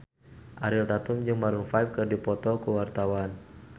Ariel Tatum jeung Maroon 5 keur dipoto ku wartawan